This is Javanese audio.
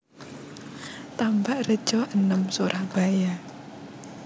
Tambakrejo enem Surabaya